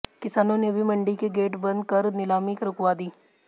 किसानों ने भी मंडी के गेट बंद कर नीलामी रुकवा दी